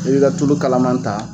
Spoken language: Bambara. I b'i ka tulu kalaman ta